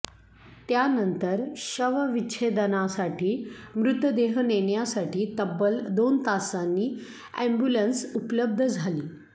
त्यानंतर शवविच्छेदनासाठी मृतदेह नेण्यासाठी तब्बल दोन तासांनी अॅम्ब्युलन्स उपलब्ध झाली